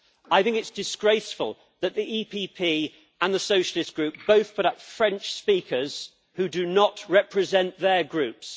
I think it is disgraceful that the EPP and the Socialist Group both put up French speakers who do not represent their Groups.